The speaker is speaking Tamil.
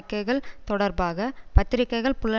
தொடர்பாக பத்திரிகைகள் புலன் விசாரணை செய்து